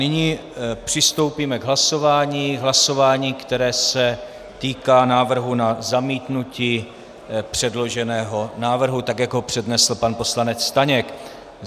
Nyní přistoupíme k hlasování, které se týká návrhu na zamítnutí předloženého návrhu, tak jak ho přednesl pan poslanec Staněk.